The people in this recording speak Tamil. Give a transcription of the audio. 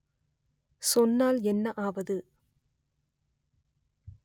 சொன்னால் என்ன ஆவது